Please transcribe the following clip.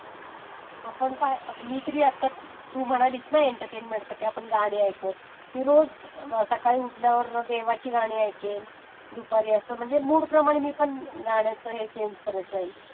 आपण आता..मी तरी आता तू म्हणालिस ना की एन्टर्मेन्मेंटसाठी गाणी ऐकूयात. मी रोज सकाळ उठल्यावर देवाची गाणी ऐकेन, दुपारी असं म्हणजे मूडप्रमाणे मी पण असं गाण्याच हे चेंज करत जाईन.